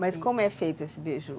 Mas como é feito esse beiju?